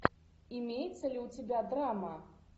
имеется ли у тебя драма